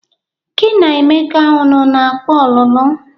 Gi na Emeka ụnụ na-akpa ọlụlụ?